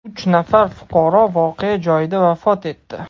Uch nafar fuqaro voqea joyida vafot etdi.